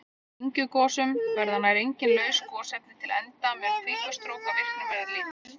Í dyngjugosum verða nær engin laus gosefni til enda mun kvikustrókavirkni vera lítil.